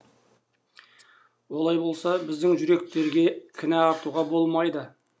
олай болса біздің жүректерге кінә артуға болмайды